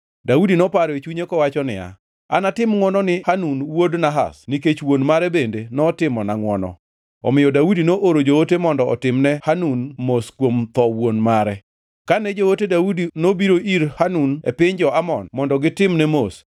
Daudi noparo e chunye kowacho niya, “Anatim ngʼwono ni Hanun wuod Nahash, nikech wuon mare bende notimona ngʼwono.” Omiyo Daudi nooro joote mondo otimne Hanun mos kuom tho wuon mare. Kane joote Daudi nobiro ir Hanun e piny jo-Amon mondo gitimne mos,